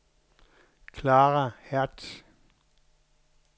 Clara Hertz